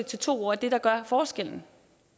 til to år er det der gør forskellen